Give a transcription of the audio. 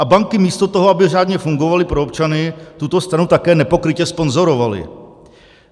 A banky, místo toho, aby řádně fungovaly pro občany, tuto stranu také nepokrytě sponzorovaly.